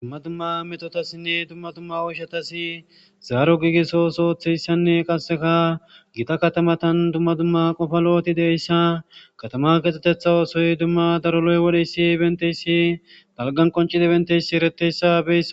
Dumma dumma metotassinne tumma dumma oyshatasi zaaro giigisosootheyssanne qasseka gita katamatan dumma dumma qofa lo7oti deyssa katama keexetetha oosoy dumma daroloy wodheyssi benteyssi galgan qoncida benteysi ereteyssa be